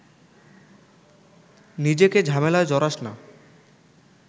নিজেকে ‘ঝামেলায়’ জড়াস না